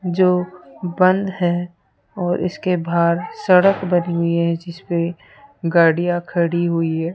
जो बंद है और इसके बाहर सड़क बनी हुई है जिसपे गाड़ियां खड़ी हुई है।